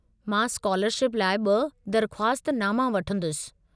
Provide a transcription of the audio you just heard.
मां स्कालरशिप लाइ ॿ दरख़्वास्त नामा वठंदुसि।